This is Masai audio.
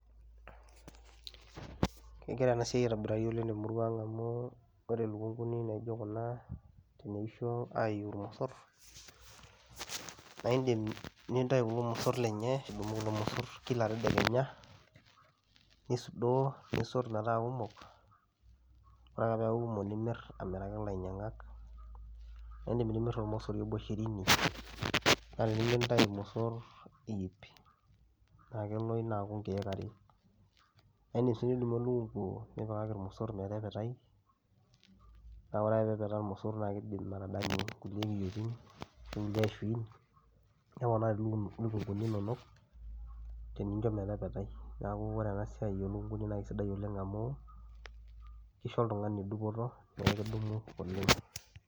Kegira ena siai aitobirari oleng' te murua ang' amu ore lukung'uni naijo kuna teneisho ayiu irmosor, naa iindim nintayu kulo mosor lenye adumu kulo mosor kila tedekenya nisudoo, nisot metaa kumok, ore ake peeku komok nimir amiraki ailainyang'ak niindim nimir ormosori obo shirini naa tenintayu irmosor iip naa kelo ina aaku nkeek are. Naa iindim sii nidumu elekung'u nipikaki irmosor metepetai naa ore ake peepetaa irmosor naake iidim atadanyu nkulie kiyoitin ashu kulie ashuin neponari luku lukung'uni inonok teninjo metepetai. Neeku ore ena siai oo lukung'uni naake sidai oleng' amu isho oltung'ani dupoto pee kidumu oleng'.